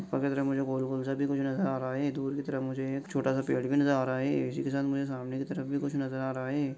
तरह मुझे गोल-गोल सा भी कुछ नजर आ रहा है दूर की तरफ मुझे एक छोटा सा पेड़ भी नजर आ रहा है इससे के साथ मुझे सामने की तरफ भी कुछ नजर आ रहा है।